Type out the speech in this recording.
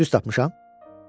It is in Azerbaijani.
Düz tapmışam?